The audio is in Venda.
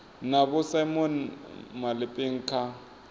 na vho simon malepeng kha